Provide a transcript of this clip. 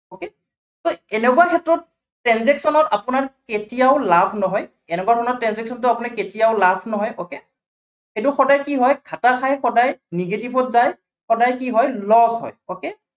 so এনেকুৱা ক্ষেত্ৰত transaction ৰ আপোনাৰ কেতিয়াও লাভ নহয়। এনেকুৱা ধৰণৰ transaction ত আপোনাৰ কেতিয়াও লাভ নহয়, okay এইটো সদায় কি হয় ঘাটা খাই সদায়, negative ত যায়, সদায় কি হয় loss হয় okay